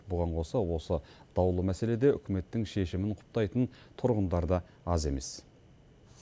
бұған қоса осы даулы мәселеде үкіметтің шешімін құптайтын тұрғындар да аз емес